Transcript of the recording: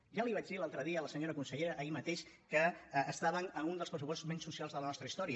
ja li vaig dir l’altre dia a la senyora consellera ahir mateix que estaven amb un dels pressupostos menys socials de la nostra història